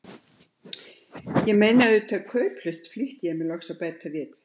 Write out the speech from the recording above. Ég meina auðvitað kauplaust, flýtti ég mér loks að bæta við.